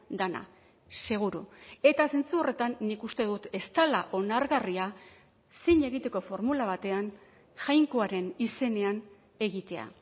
dena seguru eta zentzu horretan nik uste dut ez dela onargarria zin egiteko formula batean jainkoaren izenean egitea